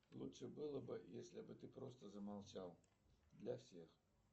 лучше было бы если бы ты просто замолчал для всех